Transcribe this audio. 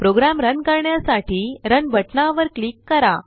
programme run करण्यासाठी run बटनावर click करा